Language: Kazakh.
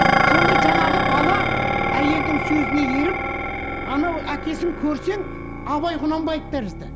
сонда жаңағы бала әйелдің сөзіне еріп анау әкесін көрсең абай құнанбаев тәрізді